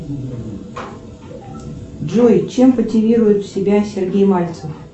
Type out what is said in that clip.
джой чем мотивирует себя сергей мальцев